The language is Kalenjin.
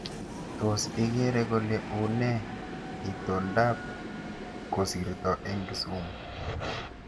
Tos igeere kole unee itondab koristo eng kisumu